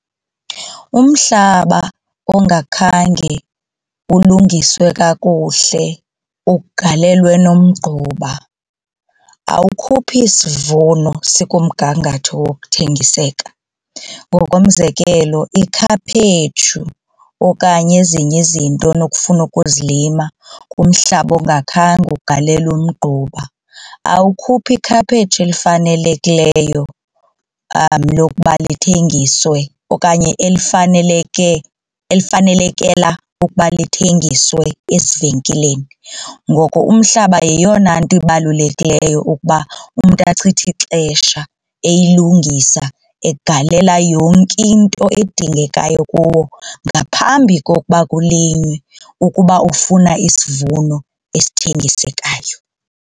Umhlaba ongakhange ulungiswe kakuhle ugalelwe nomgquba awukhuphi sivuno sikumgangatho wokuthengiseka. Ngokomzekelo ikhaphetshu okanye ezinye izinto onokufuna ukuzilima kumhlaba ongakhange ugalelwe umgquba awukhuphi ikhaphetshu elifanelekileyo lokuba lithengiswe okanye elifaneleke, elifanelekela ukuba lithengiswe ezivenkileni. Ngoko umhlaba yeyona nto ibalulekileyo ukuba umntu achithe ixesha eyilungisa egalela yonke into edingekayo kuwo ngaphambi kokuba kulinywe ukuba ufuna isivuno esithengisekayo.